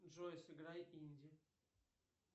джой сыграй инди